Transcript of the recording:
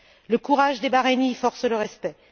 Le courage des Bahreïniens force le respect.